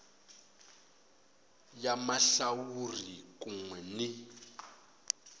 ya mahlawuri kun we ni